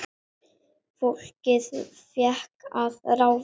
Fólkið fékk að ráða.